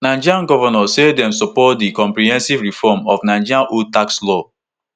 nigerian govnors say dem support di comprehensive reform of nigeria old tax laws